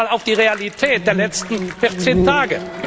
Schauen wir doch einmal auf die Realität der letzten vierzehn Tage!